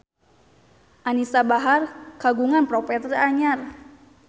Anisa Bahar kagungan properti anyar